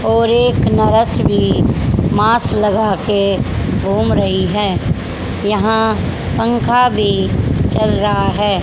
और एक नरस भी मांस लगा के घूम रही हैं यहां पंखा भी चल रहा है।